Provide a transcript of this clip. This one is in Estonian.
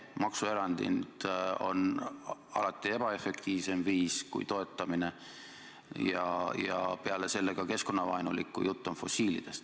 Maksuerandid on alati ebaefektiivsem viis kui toetamine ja peale selle ka keskkonnavaenulik, kui jutt on fossiilkütustest.